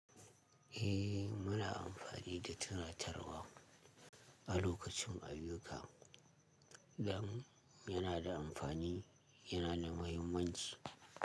Eh muna amfani da tunatarwa a lokacin ayuka, zamani yana da amfani, yana da mahimmanci.